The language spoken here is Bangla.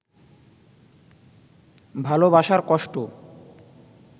ভালবাসার কষ্ট